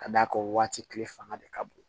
Ka d'a kan waati tile fanga de ka bon